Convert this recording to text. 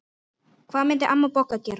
Hvað myndi amma Bogga gera?